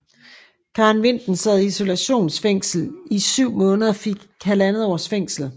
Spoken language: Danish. Karen Vinten sad i isolationsfængsel i 7 måneder og fik halvandet års fængsel